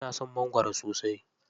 Ina son mangwaro sosai.